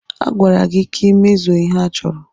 A gwara gị ka ị mezuo ihe a chọrọ!